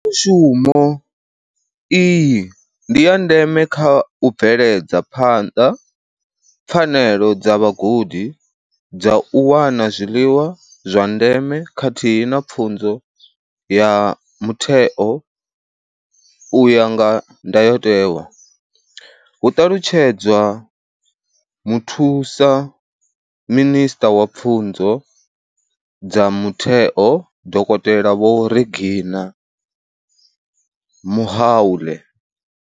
Sumo iyi ndi ya ndeme kha u bveledza phanḓa pfanelo dza vhagudi dza u wana zwiḽiwa zwa ndeme khathihi na pfunzo ya mutheo u ya nga ndayotewa, hu ṱalutshedza muthusaminisṱa wa pfunzo dza mutheo, Dokotela Vho Reginah Mhaule.